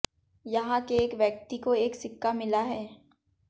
यहां के एक व्यक्ति को एक सिक्का मिला है